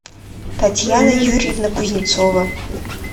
татьяна юрьевна кузнецова